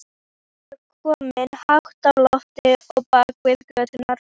Sólin var komin hátt á loft og bakaði göturnar.